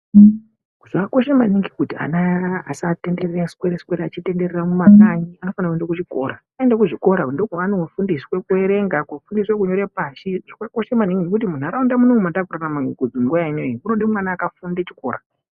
Zvakakosha maningi kuti ana usatenderera, kuswere swere achitenderera mumakanyi anofana kuenda kuchikora, aenda kuzvikora ndiko kwaanofundiswa kuerenga, kufundira kunyora pashi zvakakosha maningi ngekuti munharaunda munomu matakurarama uku nguwa inei kunode mwana akafunde chikora